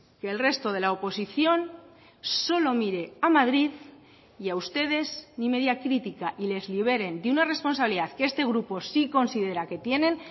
que el resto de la oposición solo mire a madrid y a ustedes ni media critica y les liberen de una responsabilidad que este grupo sí considera que tienen